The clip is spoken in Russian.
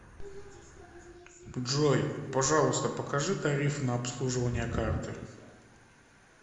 джой пожалуйста покажи тарифы на обслуживание карты